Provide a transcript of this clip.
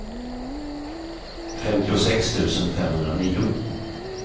femtiosex tusen femhundranio